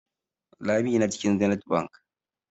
Lami na cikin Zenith Bank.